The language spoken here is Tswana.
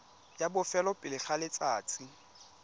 la bofelo pele ga letsatsi